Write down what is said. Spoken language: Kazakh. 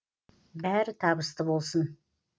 бәрі табысты болсын